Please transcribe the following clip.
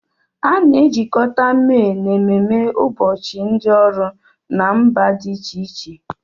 A na-ejikọta May na ememe ụbọchị ndị ọrụ na mba dị iche iche.